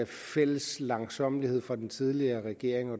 fælles langsommelighed fra den tidligere regerings og